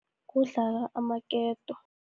Kudlala amaketo.